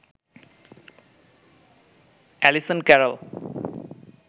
Allison Carroll